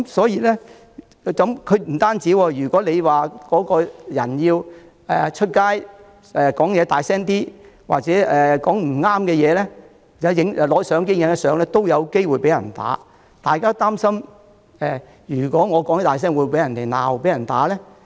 也不只這樣，如果有市民在街上說話大聲一點、說了些不中聽的話或拍照，也有機會被打，大家於是都擔心如果自己說話大聲，會否被罵或打。